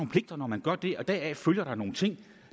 pligter når man gør det og deraf følger der nogle ting